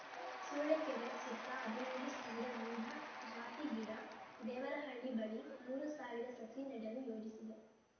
ಸೂಳೆಕೆರೆ ಸುತ್ತ ಹದಿನೈದು ಸಾವಿರ ವಿವಿಧ ಜಾತಿ ಗಿಡ ದೇವರಹಳ್ಳಿ ಬಳಿ ಮೂರು ಸಾವಿರ ಸಸಿ ನೆಡಲು ಯೋಜಿಸಿದೆ